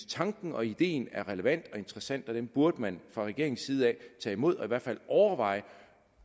tanken og ideen er relevant og interessant og den burde man fra regeringens side tage imod og i hvert fald overveje